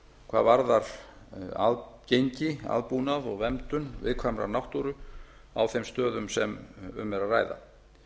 hvað varðar aðgengi aðbúnað og verndun viðkvæmrar náttúru á þeim stöðum sem um er að ræða